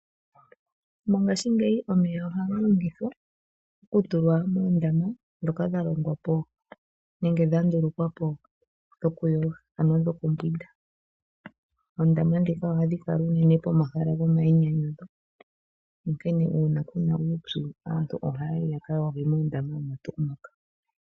Mongaashingeyi omeya ohaga longithwa okutulwa moondama ndhoka dha longwa po nenge dha ndulukwa po dhokuyoga ano dhokumbwinda. Oondama ndhika ohadhi kala unene pomahala gomayinyanyudho, onkene uuna kuna uupyu aantu ohaya yi ya ka yoga moondama omo tuu moka.